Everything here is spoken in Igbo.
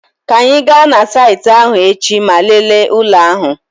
Ka anyị gaa na saịtị ahụ echi ma lelee ụlọ ahụ.